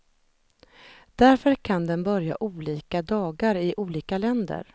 Därför kan den börja olika dagar i olika länder.